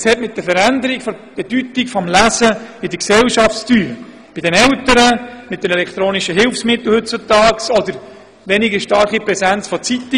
Es hat mit der Veränderung der Bedeutung des Lesens in der Gesellschaft zu tun, mit den Eltern, den elektronischen Hilfsmitteln oder mit der zurückgegangenen Präsenz von Zeitungen.